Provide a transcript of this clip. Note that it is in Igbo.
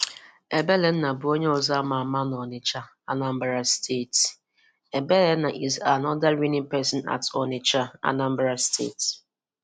Ebelenna bu onye ozo ama ama na Onitch, Anambra State.\nEbelenna is another reigning person at onitcha, Anambra State